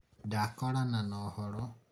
ndakorana na ũhoro